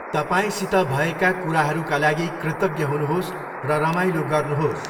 तपाईँसित भएका कुराहरूका लागि कृतज्ञ हुनुहोस् र रमाइलो गर्नुहोस्।